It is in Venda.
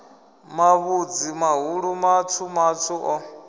mavhudzi mahulu matswu matswu o